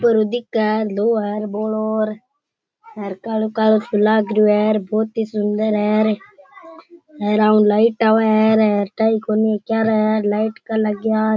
ऊपर दिखे है लो अर बोलो कालो कालो सो लगिरियो है बहुत ही सुन्दर है ऊपर लाइट आवे है --